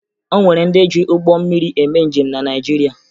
O nwere ndị ji ụgbọ mmiri eme njem na Naịjirịa